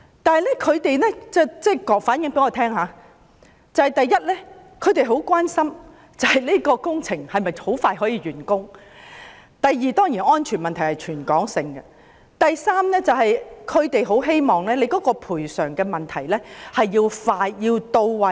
但是，他們向我們反映，第一，他們很關心工程可否盡快完工；第二，當然是安全問題，這是全港性的問題；第三，他們很希望賠償要快捷、到位。